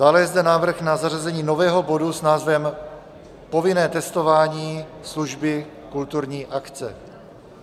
Dále je zde návrh na zařazení nového bodu s názvem Povinné testování, služby, kulturní akce.